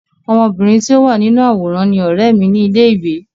Ọmọbìnrin tí ó wà nínú àwòrán ni ọ̀rẹ́ mi ní ilé ìwé.